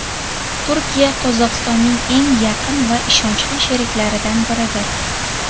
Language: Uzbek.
Turkiya Qozog‘istonning eng yaqin va ishonchli sheriklaridan biridir.